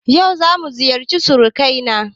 Yau zamu ziyarci surukai na